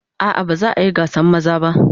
A'a ba za a yi gasan maza ba.